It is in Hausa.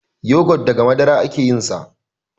yogot daga Madara ake yinsa